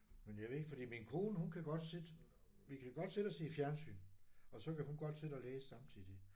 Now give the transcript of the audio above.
Men jeg ved ikke fordi min kone hun kan godt sidde vi kan godt sidde og se fjernsyn og så kan hun godt sidde og læse samtidig